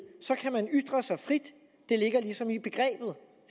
kan man ytre sig frit det ligger ligesom i begrebet